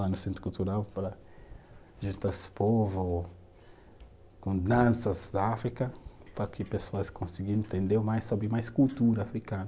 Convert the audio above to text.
Lá no Centro Cultural para juntar os povos com danças da África, para que pessoas consigam entender mais sobre mais cultura africana.